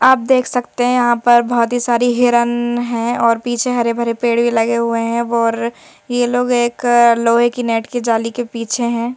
आप देख सकते हैं यहां पर बहोत ही सारी हिरन है और पीछे हरे भरे पेड़ भी लगे हुए हैं और ये लोग एक लोहे की नेट की जाली के पीछे हैं।